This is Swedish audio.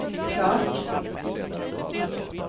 klart